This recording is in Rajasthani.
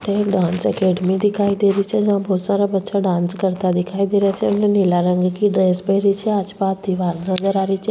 एक डांस एकेडमी दिखाई दे री छे जहा बहोत सारा बच्चा डांस करता दिखाई दे रा छे एक ने नीला रंग की ड्रेस पहरी छे आस पास दिवार नज़र आरी छे।